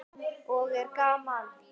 Og er gaman?